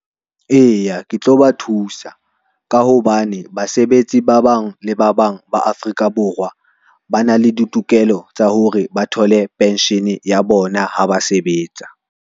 Eya, ke tlo ba thusa ka hobane basebetsi ba bang le ba bang ba Afrika Borwa, ba na le ditokelo tsa hore ba thole pension ya bona ha ba sebetsa.